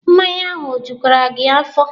Mmanya ahụ o jukwere gị afọ?